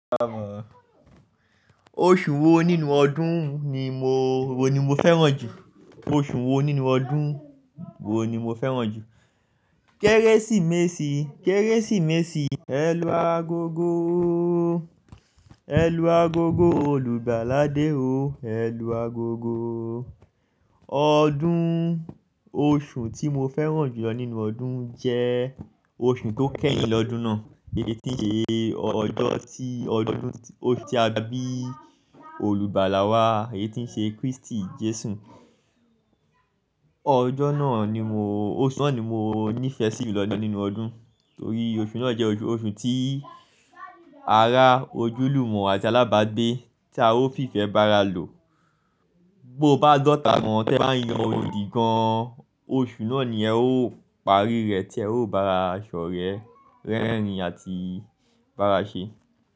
Oṣù wo nínú ọdún ni mo, wo ni mo fẹ́ràn jù? Oṣù wo nínú ọdún wo ni mo fẹ́ràn jù? Kérésìmesì, Kérésìmesì. Ẹ̀lú agogo, ẹ̀lú agogo, olùgbàlàdé o, ẹ̀lú agogo. Ọdún, oṣù tí mo fẹ́ràn jùlọ nínú ọdún jẹ́ oṣù tó kẹ́yin lọ́dún náà. Èyí tí ń ṣe ọjọ́ tí ọdún, oṣù tí a bí olùgbàlà wá, èyí tí ń ṣe Kristi Jesu. Ọjọ́ náà ni mo, oṣù náà ni mo nífẹ̀ẹ́ sí jùlọ nínú ọdún torí oṣù náà jẹ́ oṣù, oṣù tí ara, ojúlùmọ̀ àti alábágbé tí a ó fi ìfẹ́ bá ara lò. Bo bá dọ̀tá mọ́, tí ẹ bá yan odi gan-an, oṣù náà ni ẹ ó parí rẹ, tí ẹ ó bá ara ṣọ́rẹ́, rẹ́rìn-ín àti bá ara ṣe.